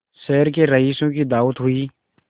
शहर के रईसों की दावत हुई